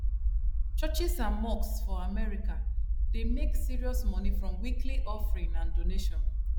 churches and mosques for america dey make serious money from weekly offering and donation